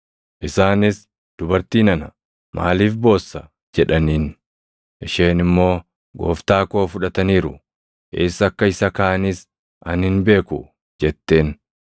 Isaanis, “Dubartii nana, maaliif boossa?” jedhaniin. Isheen immoo, “Gooftaa koo fudhataniiru; eessa akka isa kaaʼanis ani hin beeku” jetteen.